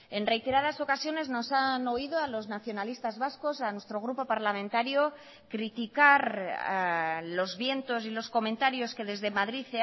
en reiteradas ocasiones nos han oído a los nacionalistas vascos a nuestro grupo parlamentario criticar los vientos y los comentarios que desde madrid